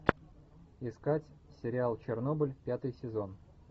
искать сериал чернобыль пятый сезон